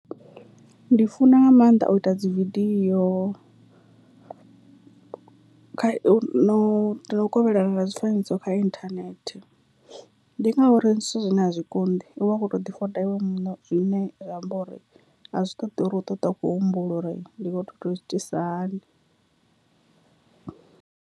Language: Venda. Ndi funa nga maanḓa u ita dzi vidiyo kha u no no kovhelana na zwifanyiso kha inthanethe, ndi ngauri ndi zwithu zwine a zwi konḓi u vha u kho to ḓi foda iwe muṋe zwine zwi amba uri a zwi ṱoḓi uri u to ṱwa u tshi khou humbula uri ndi kho to itisa hani.